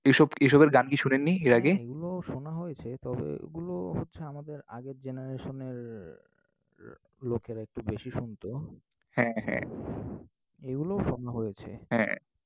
এসব এসবের গান কি শোনেননি এর আগে? এগুলো শোনা হয়েছে, তবে এগুলো হচ্ছে আমাদের আগের generation এর লোকেরা একটু বেশি শুনতো। হ্যাঁ হ্যাঁ, এগুলোও শোনা হয়েছে। হ্যাঁ